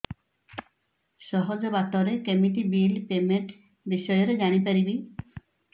ସହଜ ବାଟ ରେ କେମିତି ବିଲ୍ ପେମେଣ୍ଟ ବିଷୟ ରେ ଜାଣି ପାରିବି